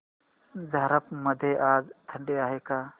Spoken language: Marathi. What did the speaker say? झारप मध्ये आज थंडी आहे का